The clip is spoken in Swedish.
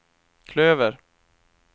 klöver